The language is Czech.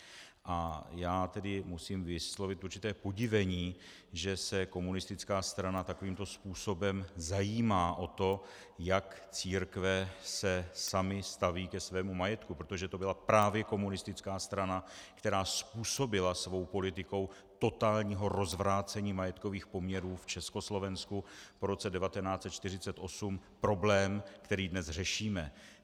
A já tedy musím vyslovit určité podivení, že se komunistická strana takovýmto způsobem zajímá o to, jak se církve samy staví ke svému majetku, protože to byla právě komunistická strana, která způsobila svou politikou totálního rozvrácení majetkových poměrů v Československu po roce 1948 problém, který dnes řešíme.